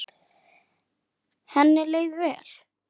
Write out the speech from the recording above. Henni leið vel.